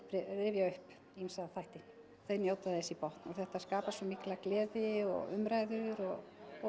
rifja upp ýmsa þætti þau njóta þess í botn þetta skapar svo mikla gleði og umræður og